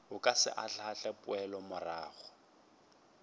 o ka se ahlaahle poelomorago